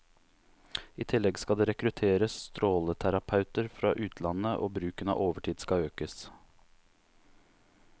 I tillegg skal det rekrutteres stråleterapeuter fra utlandet, og bruken av overtid skal økes.